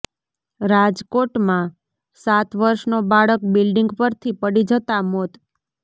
રાજકોટમાં સાત વર્ષનો બાળક બિલ્ડિંગ પરથી પડી જતાં મોત